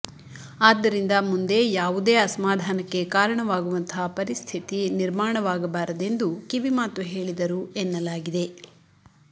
ಆದ್ದರಿಂದ ಮುಂದೆ ಯಾವುದೇ ಅಸಮಾಧಾನಕ್ಕೆ ಕಾರಣವಾಗುವಂತಹ ಪರಿಸ್ಥಿತಿ ನಿರ್ಮಾಣವಾಗಬಾರದೆಂದು ಕಿವಿಮಾತು ಹೇಳಿದರು ಎನ್ನಲಾಗಿದೆ